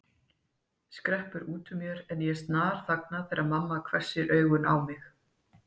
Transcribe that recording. skreppur út úr mér en ég snarþagna þegar mamma hvessir augun á mig.